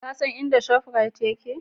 Ka san inda Shop Rite take?